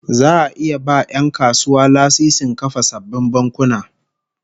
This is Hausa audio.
Za'a iya ba 'yan kasuwa lasisin kafa sabbin bankuna